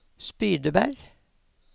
Spydeberg